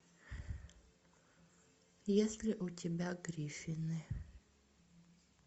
есть ли у тебя гриффины